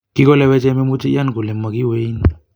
Kigoleweche memuche iyan kole mogiweein.